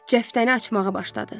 Cəftəni açmağa başladı.